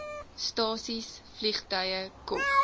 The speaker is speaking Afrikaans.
stasies vliegtuie kof